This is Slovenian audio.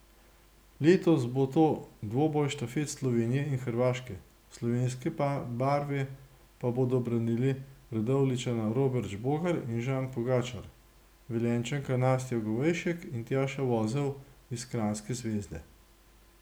Letos bo to dvoboj štafet Slovenije in Hrvaške, slovenske barve pa bodo branili Radovljičana Robert Žbogar in Žan Pogačar, Velenjčanka Nastja Govejšek in Tjaša Vozel iz kranjske Zvezde.